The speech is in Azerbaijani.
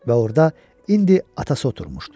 Və orda indi atası oturmuşdu.